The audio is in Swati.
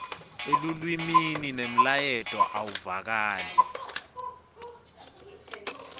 elulwimi nemlayeto awuvakali